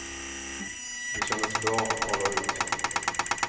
Det kändes bra att tala ut.